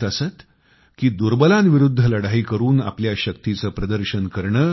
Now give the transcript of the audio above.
ते म्हणत असत की दुर्बलांविरुद्ध लढाई करून आपल्या शक्तीचे प्रदर्शन करणे